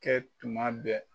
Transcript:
Kɛ tuma bɛɛ